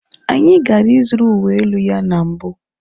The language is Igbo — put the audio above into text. Anyị gara ịzụrụ uwe elu ya na mbụ.